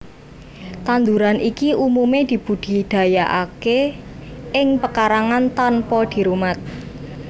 Tanduran iki umumé dibudidayakaké ing pekarangan tanpa dirumat